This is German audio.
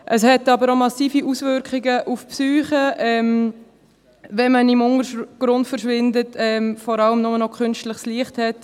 Es hat aber auch massive Auswirkungen auf die Psyche, wenn man «im Untergrund verschwindet» und vor allem nur noch künstliches Licht hat.